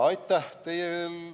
Aitäh teile!